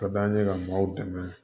Ka d'an ye ka maaw dɛmɛ